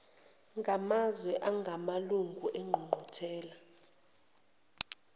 ngamazwe angamalunga engqungquthela